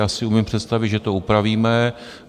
Já si umím představit, že to upravíme.